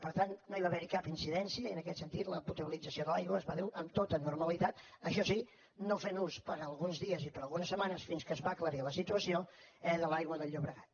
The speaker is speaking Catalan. per tant no hi va haver cap incidència i en aquest sentit la potabilització de l’aigua es va dur amb tota normalitat això sí no fent ús per alguns dies i per algunes setmanes fins que es va aclarir la situació eh de l’aigua del llobregat